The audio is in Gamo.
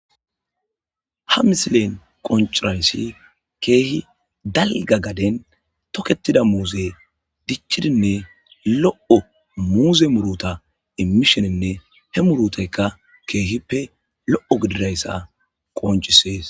Ha misilen qonciraysi kehi dalga gaden toketidi muze dic'idinne lo'o muze muruta imishenine he murutayka kehippe lo'o gididaysa qonc'ises.